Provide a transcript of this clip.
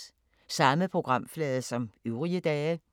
Samme programflade som øvrige dage